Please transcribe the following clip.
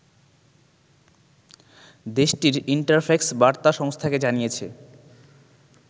দেশটির ইন্টারফ্যাক্স বার্তা সংস্থাকে জানিয়েছে